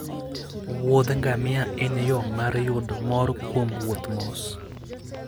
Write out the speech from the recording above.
wuodh ngamia en yo mar yudo mor kuom wuoth mos